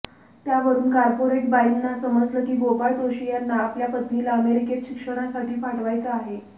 त्यावरून कार्पेटरबाईंना समजलं की गोपाळ जोशी यांना आपल्या पत्नीला अमेरिकेत शिक्षणासाठी पाठवायचं आहे